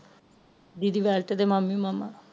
ਦੀਦੀ ਵੇਲਤ ਦੇ ਮਾਮੀ ਮਾਮਾ